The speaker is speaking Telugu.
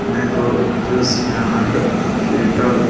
Mango juice and sweet hall .